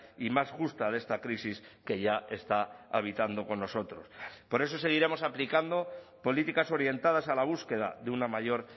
y más justa de esta crisis que ya está habitando con nosotros por eso seguiremos aplicando políticas orientadas a la búsqueda de una mayor